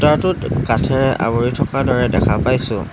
টোত কাঠেৰে আৱৰি থকা দৰে দেখা পাইছোঁ।